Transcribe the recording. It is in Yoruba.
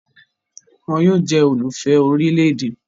Wọ́n yóò jẹ́ olùfẹ́ orílè-èdè